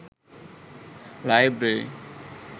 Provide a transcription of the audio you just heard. library